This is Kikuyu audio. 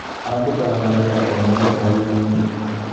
Andĩkaga marũa o mũthenya wĩrainĩ.